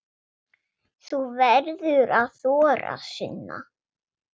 Þú verður að þora, Sunna.